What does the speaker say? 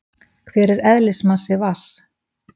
Hver er eðlismassi vatns?